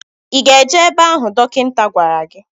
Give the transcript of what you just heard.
Ị ga-eje ebe ahụ dọkịta gwara gi?